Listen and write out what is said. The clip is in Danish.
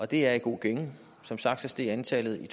det er i god gænge som sagt steg antallet i